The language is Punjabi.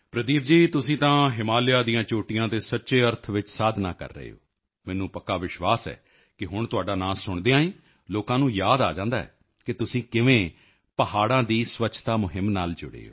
ਪ੍ਰਦੀਪ ਜੀ ਤੁਸੀਂ ਤਾਂ ਹਿਮਾਲਿਆ ਦੀਆਂ ਚੋਟੀਆਂ ਤੇ ਸੱਚੇ ਅਰਥ ਵਿੱਚ ਸਾਧਨਾਂ ਕਰ ਰਹੇ ਹੋ ਮੈਨੂੰ ਪੱਕਾ ਵਿਸ਼ਵਾਸ ਹੈ ਕਿ ਹੁਣ ਤੁਹਾਡਾ ਨਾਂ ਸੁਣਦਿਆਂ ਹੀ ਲੋਕਾਂ ਨੂੰ ਯਾਦ ਆ ਜਾਂਦਾ ਹੈ ਕਿ ਤੁਸੀਂ ਕਿਵੇਂ ਪਹਾੜਾਂ ਦੀ ਸਵੱਛਤਾ ਮੁਹਿੰਮ ਨਾਲ ਜੁੜੇ ਹੋ